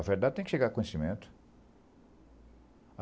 A verdade tem que chegar a conhecimento.